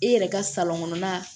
I yɛrɛ ka kɔnɔna